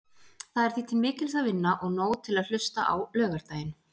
Það er því til mikils að vinna og nóg til að hlusta á laugardaginn.